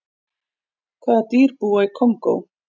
hvaða dýr búa í kongó